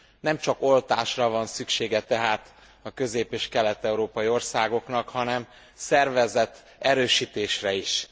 Nem csak oltásra van szüksége tehát a közép és kelet európai országoknak, hanem szervezeterősítésre is.